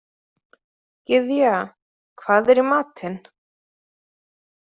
Gyðja, hvað er í matinn?